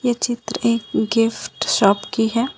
चित्र एक gift shop की है।